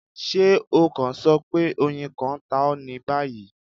ṣe o kan sọ pe oyin kan ta ọ ni bayi